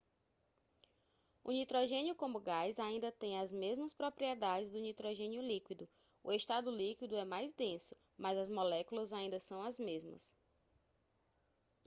o nitrogênio como gás ainda tem as mesmas propriedades do nitrogênio líquido o estado líquido é mais denso mas as moléculas ainda são as mesmas